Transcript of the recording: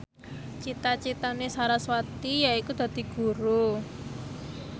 cita citane sarasvati yaiku dadi guru